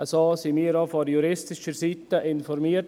So wurden wir auch von juristischer Seite informiert: